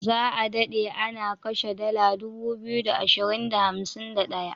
Za a dade ana kashe dala 2251.